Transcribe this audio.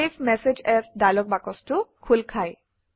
save message as dialog বাকচটো খোল খায়